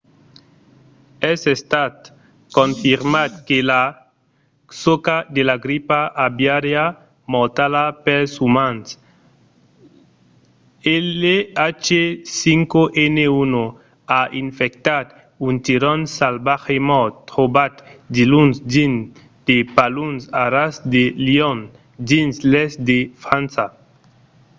es estat confirmat que la soca de la gripa aviària mortala pels umans l'h5n1 a infectat un tiron salvatge mòrt trobat diluns dins de paluns a ras de lion dins l'èst de frança